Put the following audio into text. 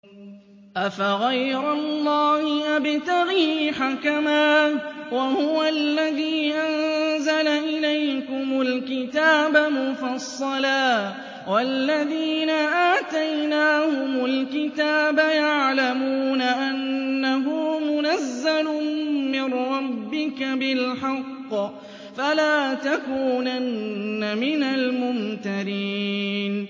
أَفَغَيْرَ اللَّهِ أَبْتَغِي حَكَمًا وَهُوَ الَّذِي أَنزَلَ إِلَيْكُمُ الْكِتَابَ مُفَصَّلًا ۚ وَالَّذِينَ آتَيْنَاهُمُ الْكِتَابَ يَعْلَمُونَ أَنَّهُ مُنَزَّلٌ مِّن رَّبِّكَ بِالْحَقِّ ۖ فَلَا تَكُونَنَّ مِنَ الْمُمْتَرِينَ